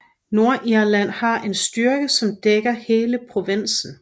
Nordirland har en styrke som dækker hele provinsen